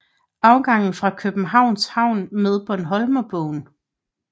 Afgang fra Københavns Havn med Bornholmerbåden